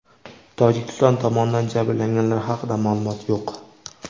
Tojikiston tomonidan jabrlanganlar haqida ma’lumot yo‘q.